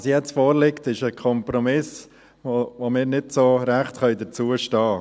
Was jetzt vorliegt, ist ein Kompromiss, zu dem wir nicht so richtig stehen können.